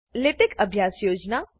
latex લેટેકઅભ્યાસ યોજના